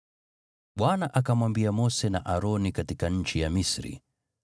Bwana akamwambia Mose na Aroni katika nchi ya Misri,